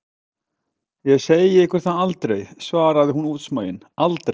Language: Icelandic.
Ég segi ykkur það aldrei, svarði hún útsmogin, aldrei!